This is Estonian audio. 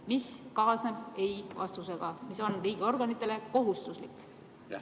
Mis kaasneb ei-vastusega, mis on riigiorganitele kohustuslik?